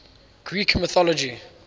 greek mythology